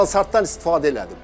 Mansartdan istifadə elədim.